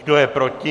Kdo je proti?